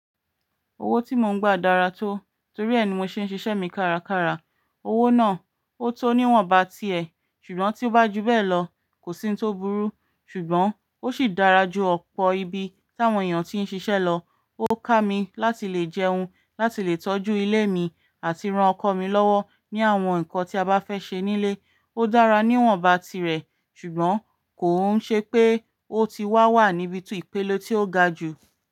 Owó tí mo ń gba dára tó, torí ẹni mo ṣe ń ṣiṣẹ́ mi kárakára. Owó náà ó tó níwọ̀nba ti ẹ, ṣùgbọ́n tí ó bá ju bẹ́ẹ̀ lọ kò sí n tó burú. Ṣùgbọ́n ó sì dára ju ọ̀pọ̀ ibi tí àwọn èèyàn ti ń ṣiṣẹ́ lọ. Ó ká mi láti lè jẹun, láti lè tọ́jú ilé mi àti ran ọkọ mi lọ́wọ́ ní àwọn nǹkan tí a bá fẹ́ ṣe nílé. Ó dára níwọ̀nba tirẹ̀, ṣùgbọ́n kò ń ṣe pé ó ti wá wà níbi tú ipèle tí ó ga jù.